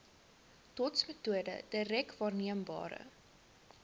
dotsmetode direk waarneembare